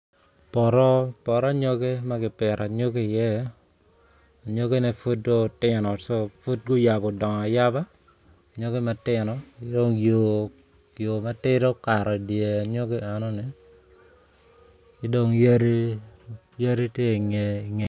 Poto poto anyogi ma kipito anyogi i iye anyogine pud do tino pud guyabo dongo ayaba anyogi matino ki dong yo matidi okato i di anyogi enoni ki dong yadi yadi ti ingeye